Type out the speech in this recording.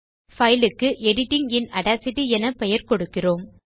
file க்கு editing இன் Audacityஎனப் பெயர் கொடுக்கிறோம்